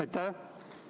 Aitäh!